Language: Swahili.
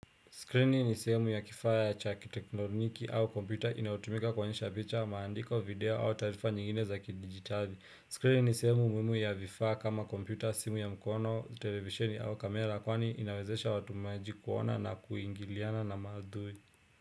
Skrini ni sehemu ya kifaa cha kiteknoniki au kompyuta inayotumika kuonyesha picha, maandiko, video au taarifa nyingine za kidijitali. Skrini ni sehemu muhimu ya vifaa kama kompyuta, simu ya mkono, televisheni au kamera kwani inawezesha watumiaji kuona na kuingiliana na maudhui.